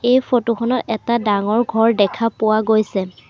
এই ফটোখনত এটা ডাঙৰ ঘৰ দেখা পোৱা গৈছে।